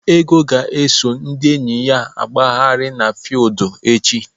Ego ga-eso ndị enyi ya gbagharịa n'fiudu echi.